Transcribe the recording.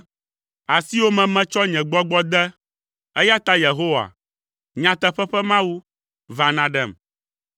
Asiwò me metsɔ nye gbɔgbɔ de, eya ta Yehowa, nyateƒe ƒe Mawu, va nàɖem.